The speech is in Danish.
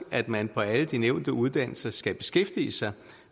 at man på alle de nævnte uddannelser skal beskæftige sig